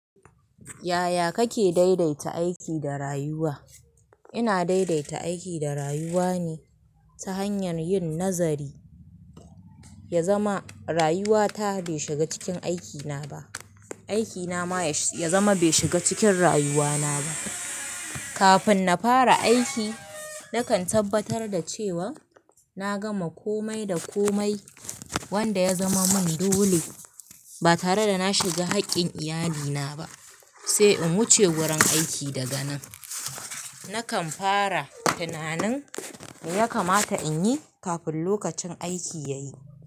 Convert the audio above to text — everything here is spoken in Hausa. Yaya kake daidaita aiki da rayuwa? Ina daidaita aiki da rayuwa ne ta hanyar yin nazari, ya zama rayuwa ta bai shiga cikin aikina ba, aikina ma ya zama bai shiga cikin rayuwana ba. Kafin na fara aiki, na kan tabbatar da cewa na gama komai da komai wanda ya zama mun dole ba tare da na shiga haƙƙin iyalina ba sai in wuce wurin aiki daga nan. Na kan fara tunanin me ya kamata in yi kafin lokacin aiki ya yi.